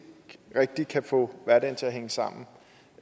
rigtig kan få hverdagen til at hænge sammen